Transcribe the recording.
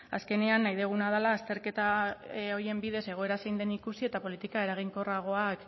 azkenean nahi duguna dela azterketa horien bidez egoera zein den ikusi eta politika eraginkorragoak